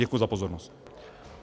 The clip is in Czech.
Děkuji za pozornost.